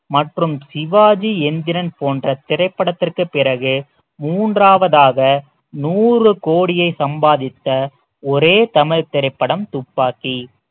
மற்றும் சிவாஜி எந்திரன் போன்ற திரைப்படத்திற்கு பிறகு மூன்றாவதாக நூறு கோடியை சம்பாதித்த ஒரே தமிழ் திரைப்படம் துப்பாக்கி